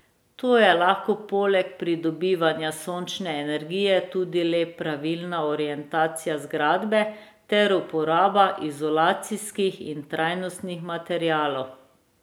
To je lahko poleg pridobivanja sončne energije tudi le pravilna orientacija zgradbe ter uporaba izolacijskih in trajnostnih materialov.